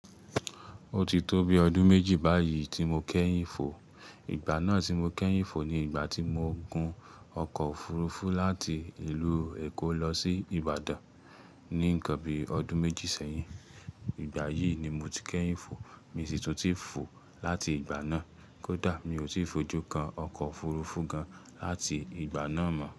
Ó ti tó bi ọdún méjì báyìí tí mo kẹ́yìn fò. Ìgbà náà tí mo kẹ́yìn fò ni ìgbà tí mo gùn ọkọ̀ òfurufú láti ìlú Èkó lọ sí Ìbàdàn. Ní ǹkan bíi ọdún méjì sẹ́yìn. Ìgbà yìí ni mo ti kẹ́yìn fò. Mi sì tò tí fò láti ìgbà náà. Kódà mi ò tí fojú kan ọkọ̀ òfurufú gan láti ìgbà náà mọ́